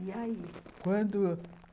E aí? Quando...